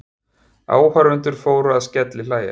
Áhorfendur fóru að skellihlæja.